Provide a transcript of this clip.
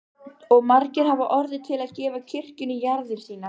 Og margir hafa orðið til að gefa kirkjunni jarðir sínar.